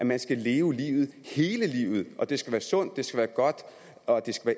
man skal leve livet hele livet at det skal være sundt det skal være godt og det skal